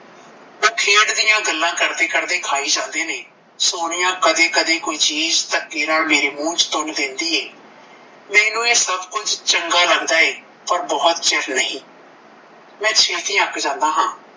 ਦੀਆਂ ਗੱਲਾਂ ਕਰਦੇ ਕਰਦੇ ਖਾਈ ਜਾਂਦੇ ਨੇਂ ਸੋਨੀਆ ਕਦੇ ਕਦੇ ਕੋਈ ਚੀਜ਼ ਧੱਕੇ ਨਾਲ ਮੇਰੇ ਮੂੰਹ ਵਿੱਚ ਤੁੰਨ ਦਿਨਦੀ ਐ ਮੈਨੂੰ ਇਹ ਸਭ ਕੁਝ ਚੰਗਾ ਲੱਗਦਾ ਐ ਪਰ ਬਹੁਤ ਚਿਰ ਨਹੀਂ ਮੈਂ ਛੇਤੀ ਅੱਕ ਜਾਂਦਾ ਹਾਂ